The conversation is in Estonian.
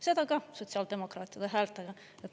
Seda ka sotsiaaldemokraatide häältega.